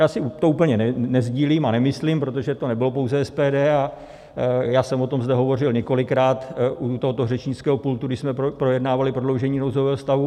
Já si to úplně nesdílím a nemyslím, protože to nebylo pouze SPD, a já jsem o tom zde hovořil několikrát u tohoto řečnického pultu, když jsme projednávali prodloužení nouzového stavu.